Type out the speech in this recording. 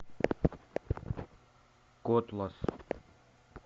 котлас